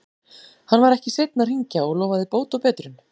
Hann var ekki seinn að hringja og lofaði bót og betrun.